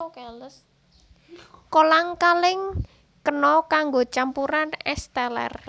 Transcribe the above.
Kolang kaling kena kanggo campuran ès teler